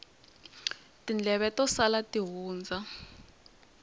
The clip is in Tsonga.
tindleve to sala ti hundza